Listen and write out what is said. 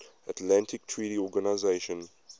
atlantic treaty organisation